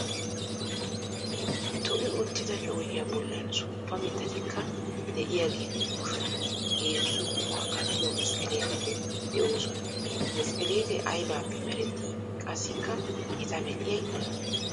To"i uttida coociya bollan suuppa mittatikka de"iyaageetu yuushuwan heezzu qummaa kattiyo mesqeleeteti de'oosona. Mesqelete aybaappe meeretti qassikka eta medhiyay oone?